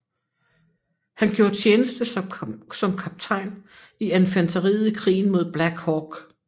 Han gjorde tjeneste som kaptajn i infanteriet i Krigen mod Black Hawk